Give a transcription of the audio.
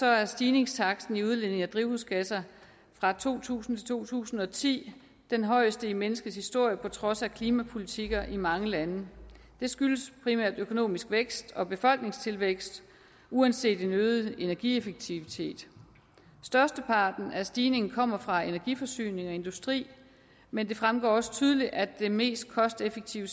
er stigningstakten i udledning af drivhusgasser fra to tusind til to tusind og ti den højeste i menneskets historie på trods af klimapolitikker i mange lande det skyldes primært økonomisk vækst og befolkningstilvækst uanset en øget energieffektivitet størsteparten af stigningen kommer fra energiforsyning og industri men det fremgår også tydeligt at den mest kosteffektive